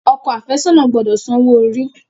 Ọkọ afesona gbódò sàn owo-ori.